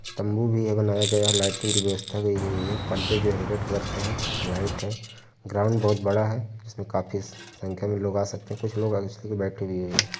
तंबू भी है बनाया गया है। लाइटिंग की व्यवस्था गयी है। पर्दे जो है रेड कलर के हैं। लाइट है। ग्राउंड बहोत बड़ा है। इसमें काफी संख्या में लोग आ सकते हैं। कुछ लोग चल के बैठे --